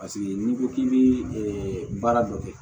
Paseke n'i ko k'i bɛ ɛ baara dɔ kɛ